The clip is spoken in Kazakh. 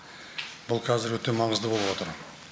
бұл қазір өте маңызды болып отыр